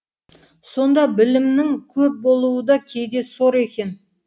сонда білімнің көп болуы да кейде сор екен